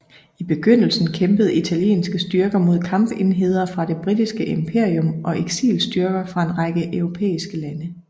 I begyndelsen kæmpede italienske styrker mod kampenheder fra det britiske imperium og eksilstyrker fra en række europæiske lande